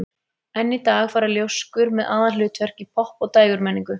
Enn í dag fara ljóskur með aðalhlutverk í popp- og dægurmenningu.